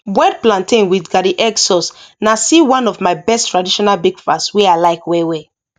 boiled plantain with garden egg sauce na still one of my best traditional breakfast wey i like well well